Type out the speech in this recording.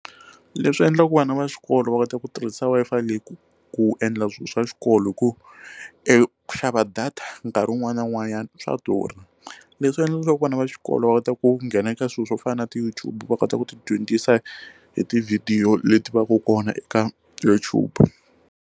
Leswi endlaka ku vana va xikolo va kota ku tirhisa Wi-Fi leyi ku ku endla swilo swa xikolo hi ku eku xava data nkarhi wun'wana na wun'wanyana swa durha leswi endlaka leswaku vana va xikolo va kota ku nghena eka swilo swo fana na ti YouTube va kota ku ti dyondzisa hi ti video leti va ka kona eka YouTube.